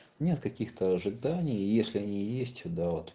нет каких-то ожиданий если они есть да вот